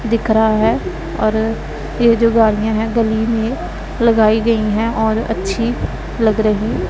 दिख रहा है और यह जो गाड़ियां है गली में लगाई गई है और अच्छी लग रही--